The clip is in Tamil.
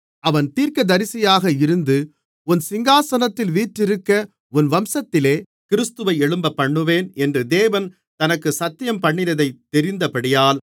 அவன் தீர்க்கதரிசியாக இருந்து உன் சிங்காசனத்தில் வீற்றிருக்க உன் வம்சத்திலே கிறிஸ்துவை எழும்பப்பண்ணுவேன் என்று தேவன் தனக்கு சத்தியம்பண்ணினதைத் தெரிந்தபடியால்